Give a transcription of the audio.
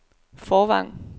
Fårvang